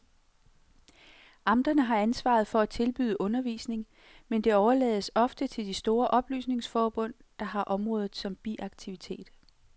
Amterne har ansvaret for at tilbyde undervisning, men det overlades ofte til de store oplysningsforbund, der har området som biaktivitet.